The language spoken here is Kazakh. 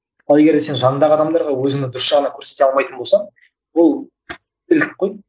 ал егер де сен жаңыңдағы адамдарға өзінің дұрыс жағынан көрсете алмайтын болсаң ол